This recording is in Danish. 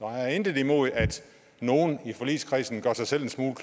har intet imod at nogle i forligskredsen gør sig selv en smule